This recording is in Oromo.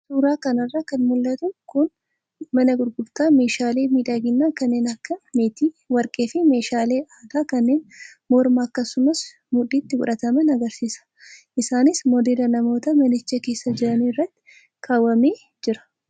Suuraa kanarraa kan mul'atu kun mana gurgurtaa messhalee miidhaginaa kanneen akka meetii, warqee fi meeshaalee aadaa kanneen mormaa akkasumas mudhiitti godhataman agarsiisa. Isaanis modeela namoota manicha keessa jiranii irratti kaawamee jira.